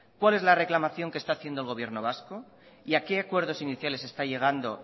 cuál es la reclamación que está haciendo el gobierno vasco y a que acuerdos iniciales está llegando